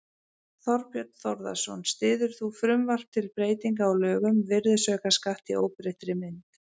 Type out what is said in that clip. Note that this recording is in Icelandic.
Þorbjörn Þórðarson: Styður þú frumvarp til breytinga á lögum um virðisaukaskatt í óbreyttri mynd?